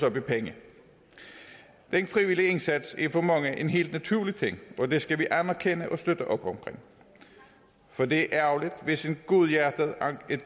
op i penge den frivillige indsats er for mange en helt naturlig ting og det skal vi anerkende og støtte op omkring for det er ærgerligt hvis et godhjertet